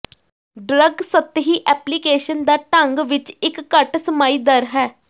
drug ਸਤਹੀ application ਦਾ ਢੰਗ ਵਿੱਚ ਇੱਕ ਘੱਟ ਸਮਾਈ ਦਰ ਹੈ